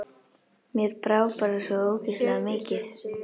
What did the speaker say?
Mér brá bara svo ógeðslega mikið.